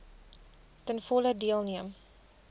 ten volle deelneem